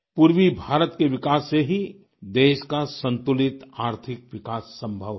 पूर्वी भारत के विकास से ही देश का संतुलित आर्थिक विकास संभव है